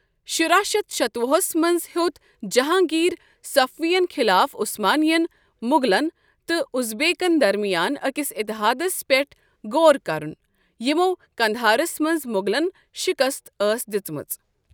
شُراہ شیتھ شتوُہس منٛز ہیوٚت جہانٛگیٖرن صفوِین خٕلاف عُثمانیٚن، مُغلن تہٕ اُزبیکن درمِیان اَکِس اِتحادس پیٚٹھ غور کرُن، یِمو قندھارس منٛز مُغلن شِکست ٲس دِژمٕژ۔